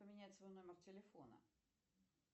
поменять свой номер телефона